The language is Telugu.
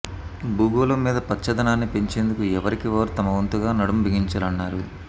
భూగోళం మీద పచ్చదనాన్ని పెంచేందుకు ఎవరికి వారు తమవంతుగా నడుం బిగించాలన్నారు